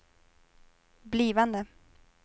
blivande